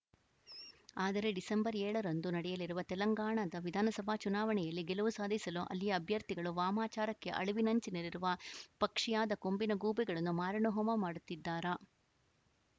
ಆದರೆ ಡಿಸೆಂಬರ್ ಏಳರಂದು ನಡೆಯಲಿರುವ ತೆಲಂಗಾಣದ ವಿಧಾನಸಭಾ ಚುನಾವಣೆಯಲ್ಲಿ ಗೆಲುವು ಸಾಧಿಸಲು ಅಲ್ಲಿಯ ಅಭ್ಯರ್ಥಿಗಳು ವಾಮಾಚಾರಕ್ಕೆ ಅಳಿವಿನಂಚಿನಲ್ಲಿರುವ ಪಕ್ಷಿಯಾದ ಕೊಂಬಿನ ಗೂಬೆಗಳನ್ನು ಮಾರಣಹೋಮ ಮಾಡುತ್ತಿದ್ದಾರಾ